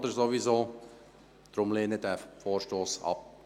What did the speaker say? Bitte lehnen Sie deshalb diesen Vorstoss ab.